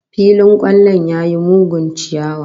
Filin kwallon ya yi mugun chiyawa